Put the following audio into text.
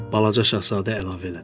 Balaca şahzadə əlavə elədi.